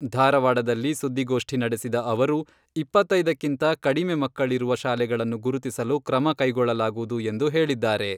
ಧಾರವಾಡದಲ್ಲಿ ಸುದ್ದಿಗೋಷ್ಠಿ ನಡೆಸಿದ ಅವರು, ಇಪ್ಪತ್ತೈದಕ್ಕಿಂತ ಕಡಿಮೆ ಮಕ್ಕಳಿರುವ ಶಾಲೆಗಳನ್ನು ಗುರುತಿಸಲು ಕ್ರಮ ಕೈಗೊಳ್ಳಲಾಗುವುದು ಎಂದು ಹೇಳಿದ್ದಾರೆ.